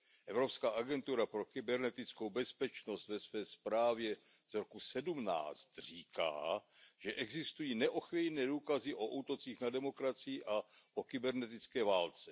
Evropská agentura pro kybernetickou bezpečnost ve své zprávě z roku 2017 říká, že existují neochvějné důkazy o útocích na demokracii a o kybernetické válce.